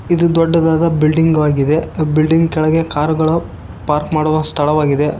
ಇದು ದೊಡ್ಡದಾದ ಬಿಲ್ಡಿಂಗ್ ಆಗಿದೆ ಬಿಲ್ಡಿಂಗ್ ಕೆಳಗೆ ಕಾರುಗಳು ಪಾರ್ಕ್ ಮಾಡುವ ಸ್ಥಳವಾಗಿದೆ.